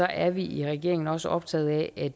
er vi i regeringen også optaget af at